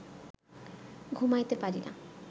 ঘুমাইতে পারি না